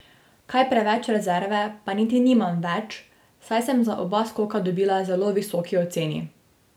Kaj preveč rezerve pa niti nimam več, saj sem za oba skoka dobila zelo visoki oceni.